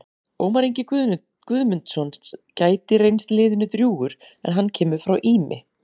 Ómar Ingi Guðmundsson gæti reynst liðinu drjúgur en hann kemur frá Ými.